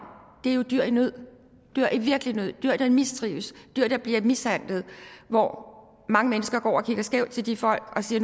er dyr i nød dyr i virkelig nød dyr der mistrives dyr der bliver mishandlet hvor hvor mange mennesker går og kigger skævt til de folk og siger